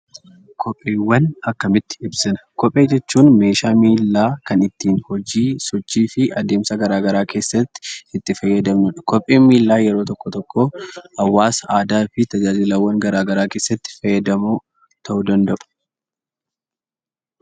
Kopheewwan akkamitti ibsina? Kophee jechuun meeshaa miillaa kan ittiin hojii sochii fi adeemsa garaa garaa keessatti itti fayyadamnudha. Kopheen miillaa yeroo tokko tokkoo hawaasa, aadaa fi tajaajilawwan garaa garaa keessatti fayyadamoo ta'uu danda'u.